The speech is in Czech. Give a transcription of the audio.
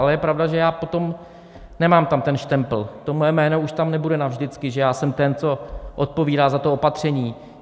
Ale je pravda, že já potom nemám tam ten štempl, to moje jméno už tam nebude navždycky, že já jsem ten, co odpovídá za to opatření.